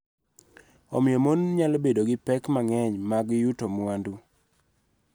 Omiyo, mon nyalo bedo gi pek mang�eny mag yuto mwandu.